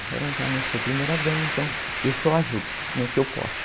Agora eu já não sou primeira dama, então eu só ajudo no que eu posso.